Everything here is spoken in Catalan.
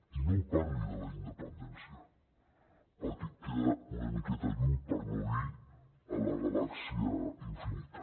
i no em parli de la independència perquè queda una miqueta lluny per no dir a la galàxia infinita